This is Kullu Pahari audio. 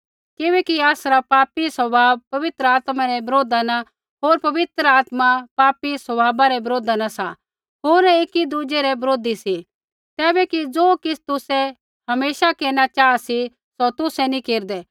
किबैकि आसरा पापी स्वभाव पवित्र आत्मा रै बरोधा न होर पवित्र आत्मा पापी स्वभावा रै बरोधा न सा होर ऐ एकीदुज़ै रै बरोधी सी तैबै कि ज़ो किछ़ तुसै हमेशा केरना चाहा सी सौ तुसै नैंई केरदै